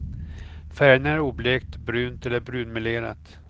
Färgerna är oblekt, brunt eller brunmelerat.